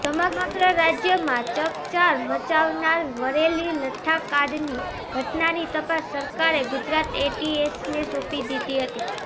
સમગ્ર રાજ્યમાં ચકચાર મચાવનાર વરેલી લઠ્ઠાકાંડની ઘટનાની તપાસ સરકારે ગુજરાત એટીએસને સોંપી દીધી હતી